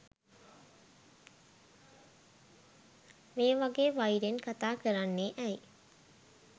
මේ වගේ වෛරෙන් කතාකරන්නේ ඇයි